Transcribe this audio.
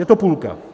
Je to půlka.